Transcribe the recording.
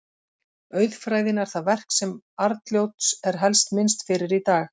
Auðfræðin er það verk sem Arnljóts er helst minnst fyrir í dag.